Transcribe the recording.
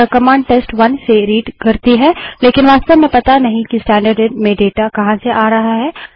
अतः कमांड टेस्ट1 से रीडपढ़ती करती है लेकिन वास्तव में पता नहीं है कि स्टैन्डर्डइन में डाटा कहाँ से आ रहा है